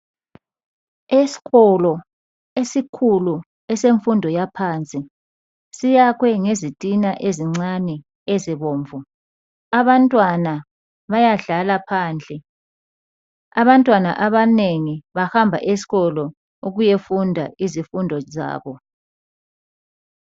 Esikolo esikhulu esemfundo yaphansi. Siyakhwe ngezitina ezincane ezibomvu. Abantwana bayadlala phandle. Abantwana abanengi bahamba esikolo ukuyefunda izifundo zabo.